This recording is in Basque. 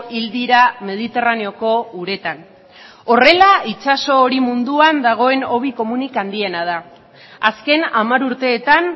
hil dira mediterraneoko uretan horrela itsaso hori munduan dagoen hobi komunik handiena da azken hamar urteetan